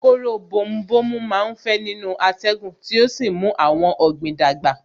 Kóró bomu bomu má ń fẹ́ nínú atẹ́gùn tí ó sì ń mú àwọn ọ̀gbìn dàgbà